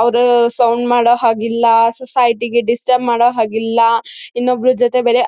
ಅವ್ರು ಸೌಂಡ್ ಮಾಡೋ ಹಾಗಿಲ್ಲ ಸೊಸೈಟಿಗೆ ಡಿಸ್ಟರ್ಬ್ ಮಾಡೋ ಹಾಗಿಲ್ಲ ಇನ್ನೊಬ್ರ ಜೊತೆ ಬೇರೆ